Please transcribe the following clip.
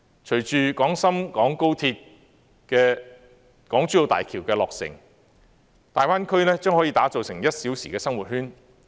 隨着廣深港高鐵和港珠澳大橋的落成，大灣區將可打造成"一小時生活圈"。